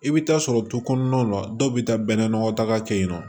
I bɛ taa sɔrɔ du kɔnɔnaw na dɔw bɛ taa bɛnna nɔgɔdaga kɛ yen nɔ